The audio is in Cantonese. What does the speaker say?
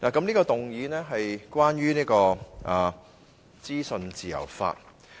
這項議案是關於資訊自由法。